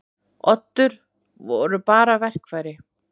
Oddur voru bara verkfæri.